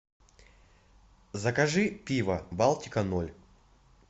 закажи пиво балтика ноль